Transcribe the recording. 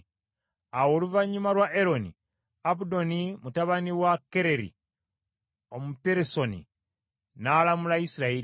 Awo oluvannyuma lwa Eroni, Abudoni mutabani wa Kereri Omupirasoni n’alamula Isirayiri.